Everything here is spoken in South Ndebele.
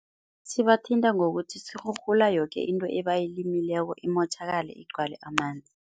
Sibathinta ngokuthi sirhurhula yoke into ebayilimiko imotjhakale igcwale amanzi.